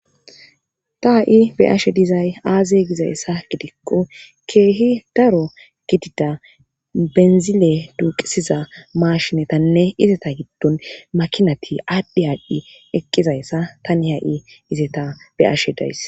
Ta ha'i be ashe dizay aaze gizayssa gidikko keehi daro gidida benzile duuqisiza maashinetanne izeta giddon makinati aaddhe aadhchi eqqizayssa tani ha'i izeta be ashe days